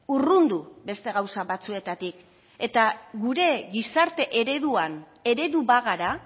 urrundu beste gauza batzuetatik eta gure gizarte ereduan eredu bagara